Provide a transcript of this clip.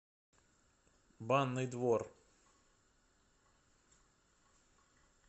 банный двор